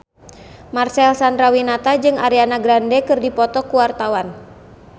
Marcel Chandrawinata jeung Ariana Grande keur dipoto ku wartawan